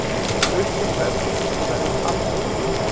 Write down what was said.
Þetta er uppsett verð og því verður aldrei breytt.